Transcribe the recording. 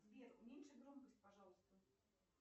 сбер уменьши громкость пожалуйста